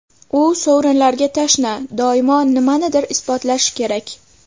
U sovrinlarga tashna, doimo nimanidir isbotlashi kerak.